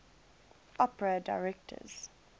opera directors